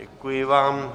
Děkuji vám.